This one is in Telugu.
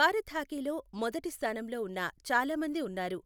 భారత హాకీలో మొదటిస్థానంలో ఉన్న చాలా మంది ఉన్నారు.